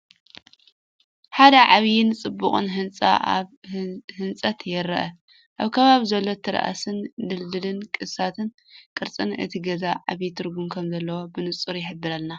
ሓደ ዓብይን ጽቡቕን ህንጻ ኣብ ህንጸት ይርአ። ኣብ ከባቢኡ ዘሎ ቴራስን ድልዱል ቅስትን ቅርጽን እቲ ገዛ ዓቢ ትርጉም ከም ዘለዎ ብንጹር ይሕብር።